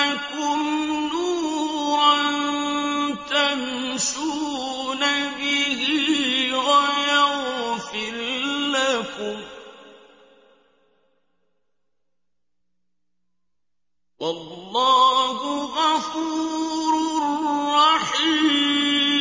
لَّكُمْ نُورًا تَمْشُونَ بِهِ وَيَغْفِرْ لَكُمْ ۚ وَاللَّهُ غَفُورٌ رَّحِيمٌ